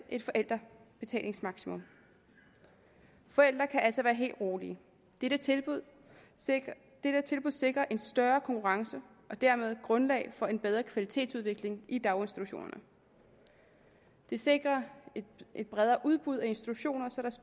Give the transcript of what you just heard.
et forældrebetalingsmaksimum forældre kan altså være helt rolige dette tilbud sikrer en større konkurrence og dermed et grundlag for en bedre kvalitetsudvikling i daginstitutionerne det sikrer et bredere udbud af institutioner så